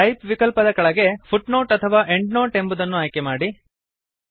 type ವಿಕಲ್ಪದ ಕೆಳಗೆ footnote ಅಥವಾ ಎಂಡ್ನೋಟ್ ಎಂಬುದನ್ನು ಆಯ್ಕೆ ಮಾಡಿ